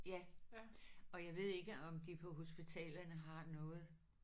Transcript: Ja og jeg ved ikke om de på hospitalerne har noget